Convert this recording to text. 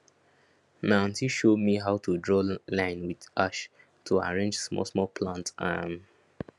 my aunty show me how to draw line with ash to arrange small small plant um